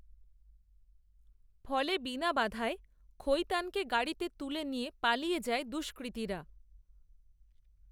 ফলে বিনা বাধায় খৈতানকে গাড়িতে তুলে নিয়ে, পালিয়ে যায় দুষ্কৃতীরা